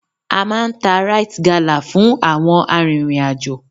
A máa ń ta Rite Gala fún àwọn arìnrìn-àjò.